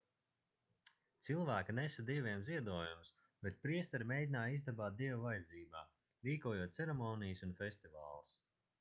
cilvēki nesa dieviem ziedojumus bet priesteri mēģināja izdabāt dievu vajadzībām rīkojot ceremonijas un festivālus